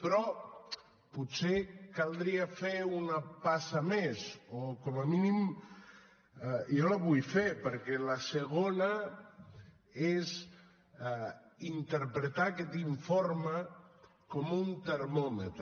però potser caldria fer una passa més o com a mínim jo la vull fer perquè la segona és interpretar aquest informe com un termòmetre